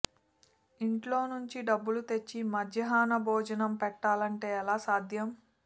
ఇంట్లో నుంచి డబ్బులు తెచ్చి మధ్యాహ్న భోజనం పెట్టాలంటే ఎలా సాధ్యం